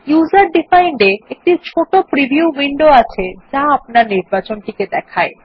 user defined এ একটি ছোট প্রিভিউ উইন্ডো আছে যা আপনার নির্বাচন টি দেখায়